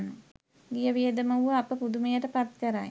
ගිය වියදම වුව අප පුදුමයට පත් කරයි.